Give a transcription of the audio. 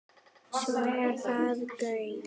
Svo er það Gaukur.